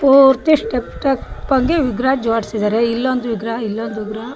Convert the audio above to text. ಪೂರ್ತಿ stack stack ಆಗಿ ವಿಗ್ರಹ ಜೋಡಿಸಿದ್ದಾರೆ ಇಲ್ಲೊಂದು ವಿಗ್ರಹ ಇಲ್ಲೊಂದು ವಿಗ್ರಹ --